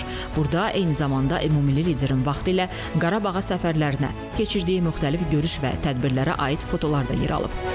Burda eyni zamanda ümummilli liderin vaxtilə Qarabağa səfərlərinə, keçirdiyi müxtəlif görüş və tədbirlərə aid fotolar da yer alıb.